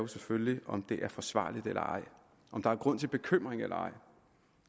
selvfølgelig om det er forsvarligt eller ej om der er grund til bekymring eller ej